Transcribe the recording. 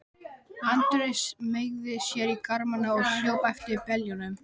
Andri smeygði sér í garmana og hljóp eftir beljunum.